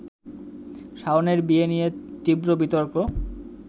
শাওনের বিয়ে নিয়ে তীব্র বিতর্ক